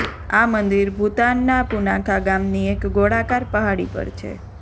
આ મંદિર ભૂતાનના પુનાખા ગામની એક ગોળાકાર પહાડી પર છે